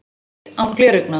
Þrívídd án gleraugna